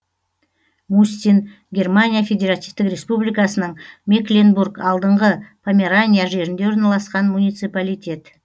мустин германия федеративтік республикасының мекленбург алдыңғы померания жерінде орналасқан муниципалитет